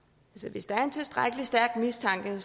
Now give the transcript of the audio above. hvis der er en tilstrækkelig stærk mistanke